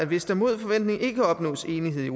hvis der mod forventning ikke opnås enighed i